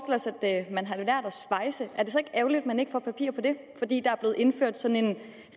os at man har lært at svejse er det så ikke ærgerligt at man ikke får papir på det fordi der er blevet indført sådan en